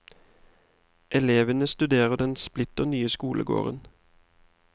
Elevene studerer den splitter nye skolegården.